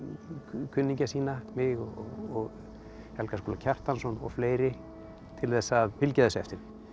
kunningja sína mig og Helga Skúla Kjartansson og fleiri til þess að fylgja þessu eftir